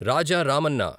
Raja Ramanna